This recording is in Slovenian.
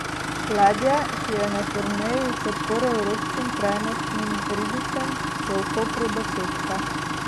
Ladja, ki je na turneji v podporo evropskim trajnostnim ribičem, bo v Kopru do petka.